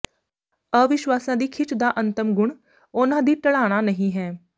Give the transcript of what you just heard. ਅਵਿਸ਼ਵਾਸਾਂ ਦੀ ਖਿੱਚ ਦਾ ਅੰਤਮ ਗੁਣ ਉਨ੍ਹਾਂ ਦੀ ਢਲਾਣਾ ਨਹੀਂ ਹੈ